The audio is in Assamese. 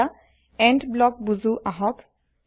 এতিয়া এণ্ড ব্লক বুজো আহক